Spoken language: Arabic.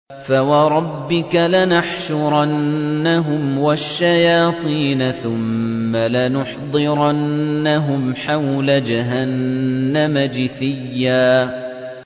فَوَرَبِّكَ لَنَحْشُرَنَّهُمْ وَالشَّيَاطِينَ ثُمَّ لَنُحْضِرَنَّهُمْ حَوْلَ جَهَنَّمَ جِثِيًّا